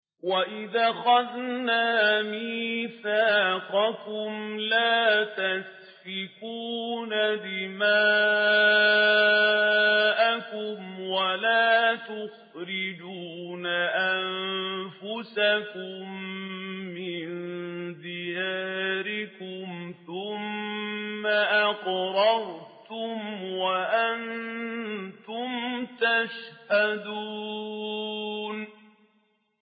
وَإِذْ أَخَذْنَا مِيثَاقَكُمْ لَا تَسْفِكُونَ دِمَاءَكُمْ وَلَا تُخْرِجُونَ أَنفُسَكُم مِّن دِيَارِكُمْ ثُمَّ أَقْرَرْتُمْ وَأَنتُمْ تَشْهَدُونَ